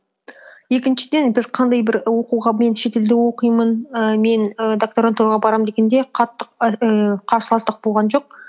екіншіден біз қандай бір оқуға мен шетелде оқимын ііі мен і докторантураға барамын дегенде қатты ііі қарсыластық болған жоқ